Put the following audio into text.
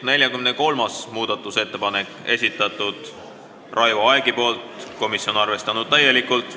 43. muudatusettepaneku on esitanud Raivo Aeg, komisjon on täielikult arvestanud.